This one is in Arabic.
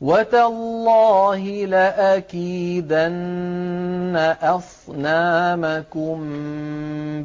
وَتَاللَّهِ لَأَكِيدَنَّ أَصْنَامَكُم